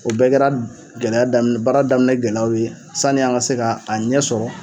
O bɛɛ kɛra gɛlɛya daminɛ baara daminɛ gɛlɛyaw ye sanni an ka se ka a ɲɛ sɔrɔ.